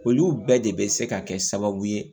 Olu bɛɛ de bɛ se ka kɛ sababu ye